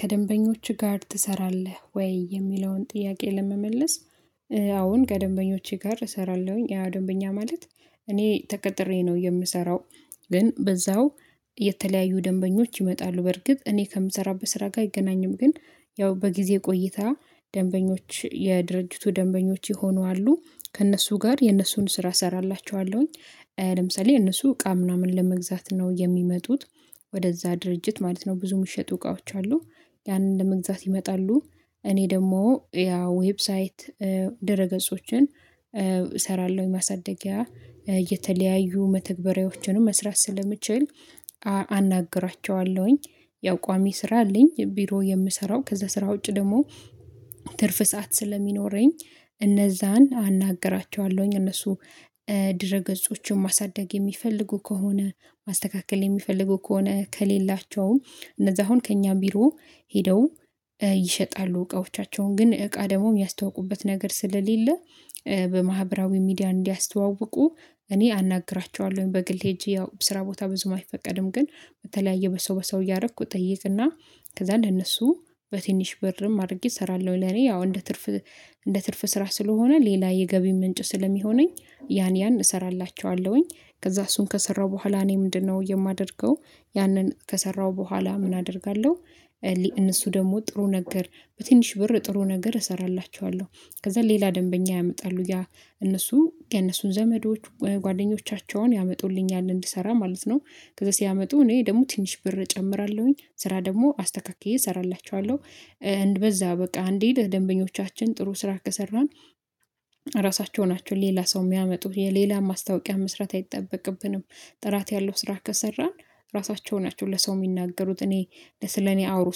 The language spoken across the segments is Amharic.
ከደንበኞችህ ጋር ትሰራለህ ወይ የሚለውን ጥያቄ ለመመለስ? አሁን ከደንበኞቼ ጋር እሰራለሁኝ ያ ደንበኛ ማለት እኔ ተቀጥሬ ነው የምሰራው። ግን በዛው የተለያዩ ደንበኞች ይመጣሉ በርግጥ እኔ ከምሰራበት ስራ ጋር አይገናኝም ግን ያው በጊዜ ቆይታ ደንበኞች የድርጅቱ ደንበኞች የሆኑ አሉ ከእነሱ ጋር የእነሱን ስራ እሰራላችኋለሁኝ። ለምሳሌ እነሱ እቃ ምናምን ለመግዛት ነው የሚመጡት ወደዛ ድርጅት ማለት ነው ብዙ የሚሸጡ እቃዎች አሉ ያንን ለመግዛት ይመጣሉ። እኔ ደግሞ ያ ዌብሳይት ድረገጾችን እሰራለሁ ማሳደጊያ የተለያዩ መተግበሪያዎችንም መስራት ስለምችል አናግራቸዋለሁኝ። ያው ቋሚ ስራ አለኝ ቢሮ የምሰራው ከዛ ስራ ውጪ ደግሞ ትርፍ ሰዓት ስለሚኖረኝ እነዛን አናግራቸዋለሁኝ። እነሱ ድረ ገጾችን ማሳደግ የሚፈልጉ ከሆነ ማስተካከል የሚፈልጉ ከሆነ ከሌላቸውም እነዛ አሁን ከእኛ ቢሮ ሄደው ይሸጣሉ እቃዎቻቸውን ግን እቃ ደግሞ ሚያስተዋውቁበት ነገር ስለሌለ በማህበራዊ ሚዲያ እንዲያስተዋውቁ እኔ አናግራቸዋለሁኝ። በግል ሄጄ ያው በስራ ቦታ ብዙም አይፈቀድም ግን በተለያየ በሰው በሰው እያረኩ እጠይቅና ከዛ ለነሱ በትንሽ ብርም አድርጌ እሰራለሁ ለኔ ያው እንደ ትርፍ እንደ ትርፍ ስራ ስለሆነ ሌላ የገቢ ምንጭ ስለሚሆነኝ ያን ያን እሰራላችኋለሁኝ። ከዛ እሱን ከሰራሁ በኋላ እኔ ምንድነው የማደርገው ያንን ከሰራሁ በኋላ ምን አደርጋለሁ? እነሱ ደግሞ ጥሩ ነገር በትንሽ ብር ጥሩ ነገር እሰራላችኋለሁ ከዛ ሌላ ደንበኛ ያመጣሉ ያ እነሱ የነሱን ዘመዶች ጓደኞቻቸውን ያመጡልኛል እንድሰራ ማለት ነው ከዛ ሲያመጡ እኔ ደግሞ ትንሽ ብር እጨምራለሁኝ ስራ ደግሞ አስተካክዬ እሰራላችኋለሁ። በዛ በቃ እንዲል ደንበኞቻችን ጥሩ ስራ ከሰራን ራሳቸው ናቸው ሌላ ሰው የሚያመጡት የሌላ ማስታወቂያ መስራት አይጠበቅብንም። ጥራት ያለው ስራ ከሰራን ራሳቸው ናቸው ለሰው ሚናገሩት እኔ ለስለኔ አውሩ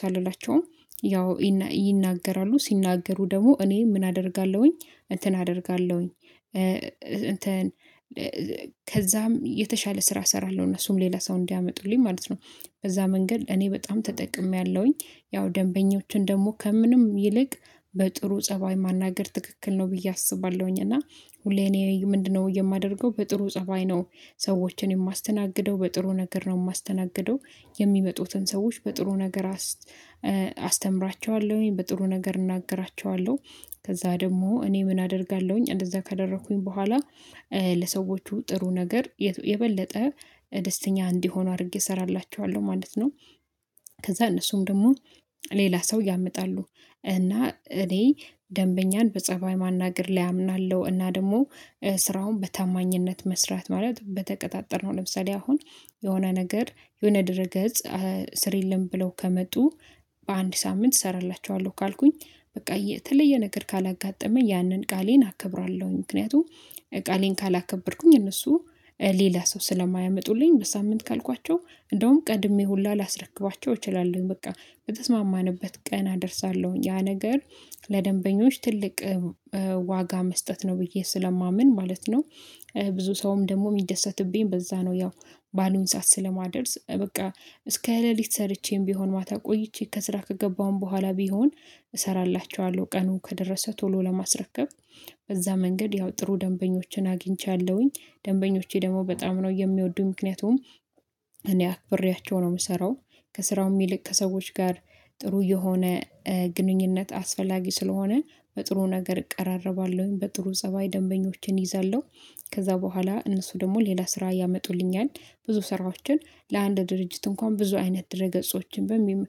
ሳልላቸውም ያው ይናገራሉ ሲናገሩ ደግሞ እኔ ምን አደርጋለሁኝ እንትን አደርጋለሁኝ እንትን ከዛም የተሻለ ስራ እሰራለሁ እነሱም ሌላ ሰው እንዲያመጡልኝ ማለት ነው። በዛ መንገድ እኔ በጣም ተጠቅሜያለሁኝ ያው ደንበኞችን ደግሞ ከምንም ይልቅ በጥሩ ፀባይ ማናገር ትክክል ነው ብዬ አስባለሁኝ እና ሁሌ እኔ ምንድነው የማደርገው በጥሩ ፀባይ ነው ሰዎችን የማስተናግደው በጥሩ ነገር ነው ማስተናግደው። የሚመጡትን ሰዎች በጥሩ ነገር አስተምራቸዋለሁኝ በጥሩ ነገር እናገራቸዋለሁ ከዛ ደግሞ እኔ ምን አደርጋለሁኝ እንደዛ ካደረኩኝ በኋላ ለሰዎቹ ጥሩ ነገር የበለጠ ደስተኛ እንዲሆኑ አድርጌ እሰራላቸዋለሁ ማለት ነው። ከዛ እነሱም ደግሞ ሌላ ሰው ያመጣሉ እና እኔ ደንበኛን በጸባይ ማናገር ላይ አምናለሁ እና ደግሞ ስራውን በታማኝነት መስራት ማለት በተቀጣጠርነው ለምሳሌ አሁን የሆነ ነገር የሆነ ድረ ገጽ ስር የለም ብለው ከመጡ በአንድ ሳምንት እሰራላችኋለሁ ካልኩኝ በቃ የተለየ ነገር ካላጋጠመኝ ያንን ቃሌን አከብራለሁኝ። ምክንያቱም ቃሌን ካላከበርኩኝ እነሱ ሌላ ሰው ስለማያመጡልኝ በሳምንት ካልኳቸው እንደውም ቀድሜ ሁላ ላስረክባቸው እችላለሁ በቃ በተስማማንበት ቀን አደርሳለሁኝ ያ ነገር ለደንበኞች ትልቅ ዋጋ መስጠት ነው ብዬ ስለማምን ማለት ነው። ብዙ ሰውም ደግሞ የሚደሰትብኝ በዛ ነው ያው ባሉን ሰዓት ስለማደርስ በቃ እስከ ሌሊት ሰርቼም ቢሆን ማታ ቆይቼ ከስራ ከገባሁም በኋላ ቢሆን እሰራላችኋለሁ ቀኑ ከደረሰ ቶሎ ለማስረከብ በዛ መንገድ ያው ጥሩ ደንበኞችን አግኝቻለሁኝ ደንበኞቼ ደግሞ በጣም ነው የሚወዱ ምክንያቱም እኔ አክብሬያቸው ነው የምሰራው። ከስራው የሚልቅ ከሰዎች ጋር ጥሩ የሆነ ግንኙነት አስፈላጊ ስለሆነ በጥሩ ነገር እቀራረባለሁኝ በጥሩ ፀባይ ደንበኞቼን እይዛለሁ ከዛ በኋላ እነሱ ደግሞ ሌላ ስራ ያመጡልኛል ብዙ ስራዎችን ለአንድ ድርጅት እንኳን ብዙ አይነት ድረ ገጾችን በሚል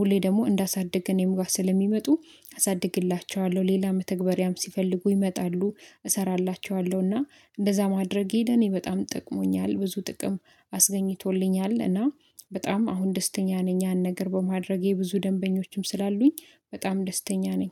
ሁሌ ደግሞ እንዳሳደግ እኔምጋ ስለሚመጡ አሳድግላቸዋለሁ ሌላ መተግበሪያም ሲፈልጉ ይመጣሉ። እሰራላቸዋለሁና እንደዛ ማድረግ ሄደ እኔ በጣም ጥቅሞኛል ብዙ ጥቅም አስገኝቶልኛል እና በጣም አሁን ደስተኛ ነኝ ያን ነገር በማድረጌ ብዙ ደንበኞችም ስላሉኝ። በጣም ደስተኛ ነኝ